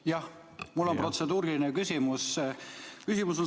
Jah, mul on protseduuriline küsimus.